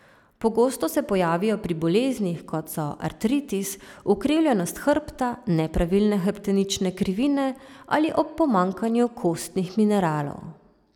Pogosto se pojavijo pri boleznih, kot so artritis, ukrivljenost hrbta, nepravilne hrbtenične krivine, ali ob pomanjkanju kostnih mineralov.